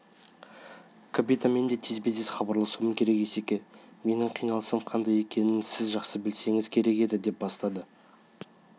капитанмен де тезбе-тез хабарласуым керек -есеке менің қиналысым қандай екенін сіз жақсы білсеңіз керек еді деп бастады